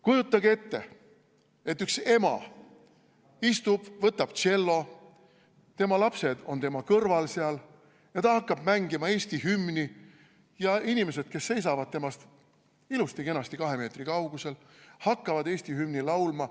Kujutage ette, et üks ema istub, võtab tšello, tema lapsed on seal tema kõrval, ja ta hakkab mängima Eesti hümni ja inimesed, kes seisavad temast ilusti-kenasti kahe meetri kaugusel, hakkavad Eesti hümni laulma.